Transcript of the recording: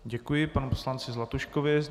Děkuji panu poslanci Zlatuškovi.